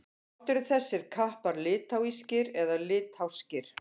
Hvort eru þessir kappar litháískir eða litháskir?